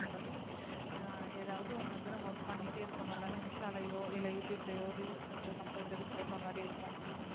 அஹ் ஏதாவது ஒண்ணு வந்து நம்ம work பண்ணிட்டே இருக்கறதுனால இன்ஸ்டாலேயோ இல்ல யூடூயூப்லேயோ reels வந்து compulsory போடுற மாதிரி இருக்கும்